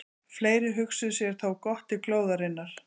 Fleiri hugsuðu sér þó gott til glóðarinnar.